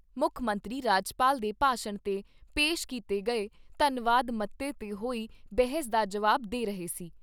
ਮੁੱਖ ਮੰਤਰੀ ਰਾਜਪਾਲ ਦੇ ਭਾਸ਼ਣ ਤੇ ਪੇਸ਼ ਕੀਤੇ ਗਏ ਧੰਨਵਾਦ ਮਤੇ ਤੇ ਹੋਈ ਬਹਿਸ ਦਾ ਜਵਾਬ ਦੇ ਰਹੇ ਸੀ।